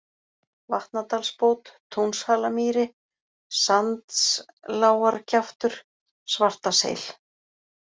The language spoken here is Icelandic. Vatnadalsbót, Túnshalamýri, Sandslágarkjaftur, Svartaseil